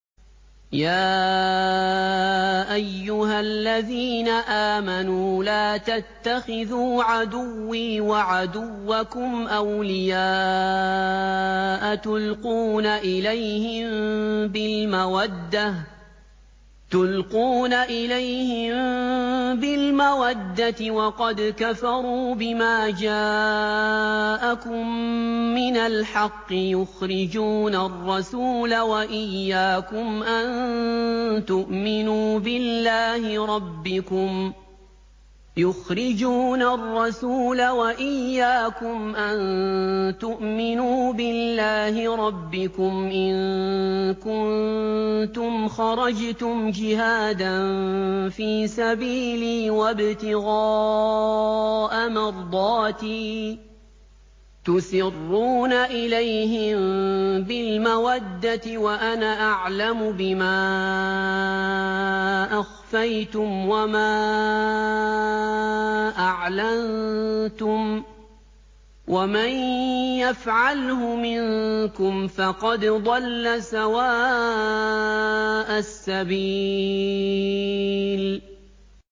يَا أَيُّهَا الَّذِينَ آمَنُوا لَا تَتَّخِذُوا عَدُوِّي وَعَدُوَّكُمْ أَوْلِيَاءَ تُلْقُونَ إِلَيْهِم بِالْمَوَدَّةِ وَقَدْ كَفَرُوا بِمَا جَاءَكُم مِّنَ الْحَقِّ يُخْرِجُونَ الرَّسُولَ وَإِيَّاكُمْ ۙ أَن تُؤْمِنُوا بِاللَّهِ رَبِّكُمْ إِن كُنتُمْ خَرَجْتُمْ جِهَادًا فِي سَبِيلِي وَابْتِغَاءَ مَرْضَاتِي ۚ تُسِرُّونَ إِلَيْهِم بِالْمَوَدَّةِ وَأَنَا أَعْلَمُ بِمَا أَخْفَيْتُمْ وَمَا أَعْلَنتُمْ ۚ وَمَن يَفْعَلْهُ مِنكُمْ فَقَدْ ضَلَّ سَوَاءَ السَّبِيلِ